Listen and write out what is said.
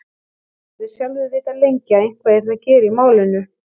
Ég hafði sjálfur vitað lengi að eitthvað yrði að gera í málinu.